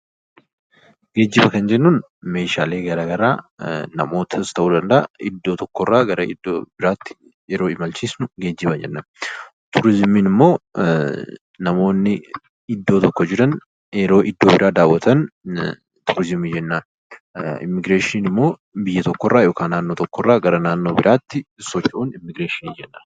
Geejjiba kan jennuun meeshaalee garaagaraa iddoo tokkorraa gara iddoo biraatti yeroo imalchiifnu yoo ta'u, turizimii jechuun immoo namoonni iddoo tokko jiran yeroo iddoo biraa daawwatan yoo ta'u, immiigireeshiniin immoo naannoo yookiin biyya tokkorraa gara biraatti socho'uudha.